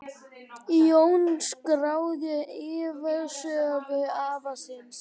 Jón skráði ævisögu afa síns.